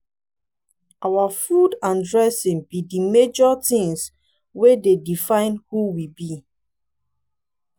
our food and dressing be di major things wey dey define who we be.